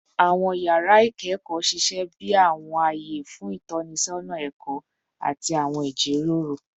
Awọn yara ikẹkọ ṣiṣẹ bi awọn aye fun itọnisọna ẹkọ ati awọn ijiroro